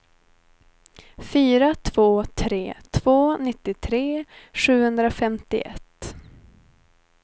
fyra två tre två nittiotre sjuhundrafemtioett